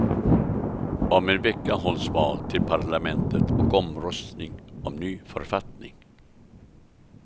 Om en vecka hålls val till parlamentet och omröstning om ny författning.